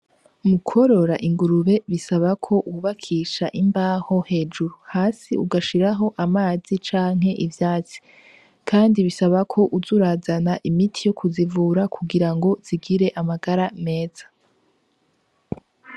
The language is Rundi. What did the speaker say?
Mu kworora ingurube bisaba ko wubakisha imbaho hejuru, hasi ugashiraho amazi canke ivyatsi kandi bisaba kuza urazana imiti yo kuzivura kugira ngo zigire amagara meza.